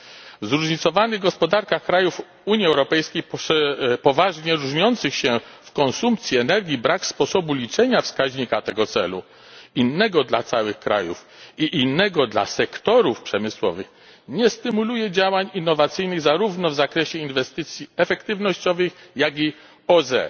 W zróżnicowanych gospodarkach krajów UE, poważnie różniących się w konsumpcji energii, brak sposobu liczenia wskaźnika tego celu innego dla całych krajów i innego dla sektorów przemysłowych nie stymuluje działań innowacyjnych zarówno w zakresie inwestycji efektywnościowych, jak i OZE.